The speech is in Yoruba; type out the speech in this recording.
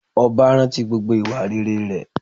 Ọba rántí gbogbo ìwà rere rẹ̀